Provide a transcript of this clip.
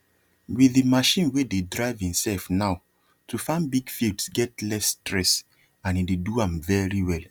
with the machine wey dey drive himself now to farm big fields get less stress and e dey do am very well